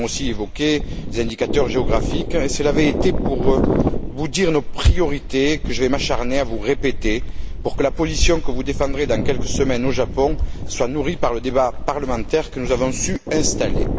Nous avions aussi évoqué des indicateurs géographiques et cela avait été pour vous dire nos priorités, que je vais m'acharner à vous répéter, pour que la position que vous défendrez dans quelques semaines au Japon soit nourrie par le débat parlementaire que nous avons su installer.